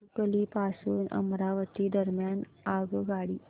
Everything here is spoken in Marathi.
भातुकली पासून अमरावती दरम्यान आगगाडी